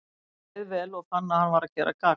Honum leið leið vel, og fann að hann var að gera gagn.